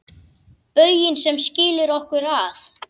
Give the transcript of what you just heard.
Bauginn sem skilur okkur að.